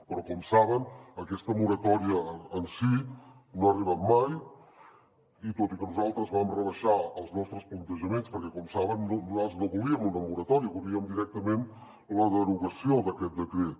però com saben aquesta moratòria en si no ha arribat mai tot i que nosaltres vam rebaixar els nostres plantejaments perquè com saben nosaltres no volíem una moratòria volíem directament la derogació d’aquest decret